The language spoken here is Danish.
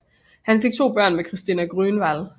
Han fik to børn med Christina Grönvall